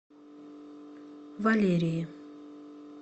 валерии